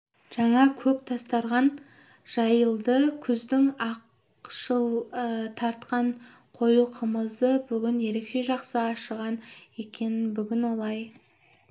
жаңа көк дастарқан жайылды күздің ақшыл тартқан қою қымызы бүгін ерекше жақсы ашыған екен бүгін олай